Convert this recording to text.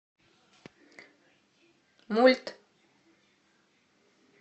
мульт